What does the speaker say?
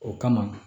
O kama